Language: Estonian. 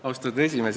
Austatud esimees!